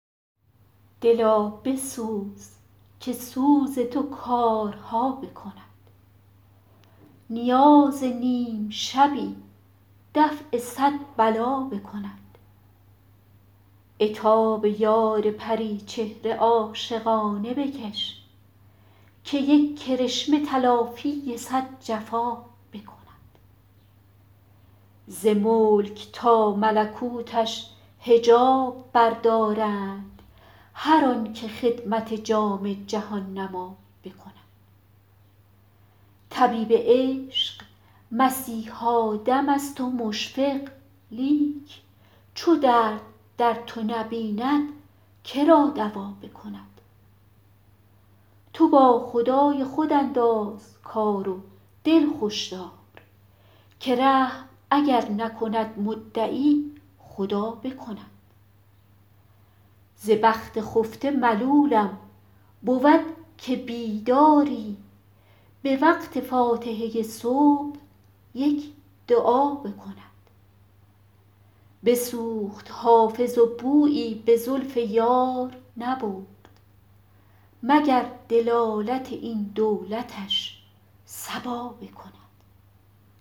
دلا بسوز که سوز تو کارها بکند نیاز نیم شبی دفع صد بلا بکند عتاب یار پری چهره عاشقانه بکش که یک کرشمه تلافی صد جفا بکند ز ملک تا ملکوتش حجاب بردارند هر آن که خدمت جام جهان نما بکند طبیب عشق مسیحا دم است و مشفق لیک چو درد در تو نبیند که را دوا بکند تو با خدای خود انداز کار و دل خوش دار که رحم اگر نکند مدعی خدا بکند ز بخت خفته ملولم بود که بیداری به وقت فاتحه صبح یک دعا بکند بسوخت حافظ و بویی به زلف یار نبرد مگر دلالت این دولتش صبا بکند